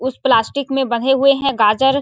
कुछ प्लास्टिक में बंधे हुए है गाजर --